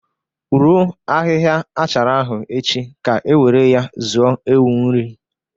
Roo ahịhịa achara ahụ echi ka ewéré ya zuo ewu nri!